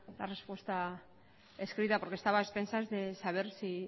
la respuesta escrita porque estaba a expensas de saber si